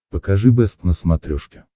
покажи бэст на смотрешке